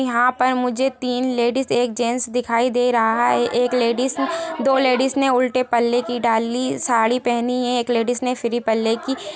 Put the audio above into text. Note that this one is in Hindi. यहाँ पर मुझे तीन लेडिज एक जेंट्स दिखाई दे रहा है। एक लेडिस दो लेडीस ने उलटे पल्ले की डाली साड़ी पहनी है एक लेडीस ने फ्री पल्ले की --